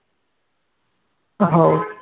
हो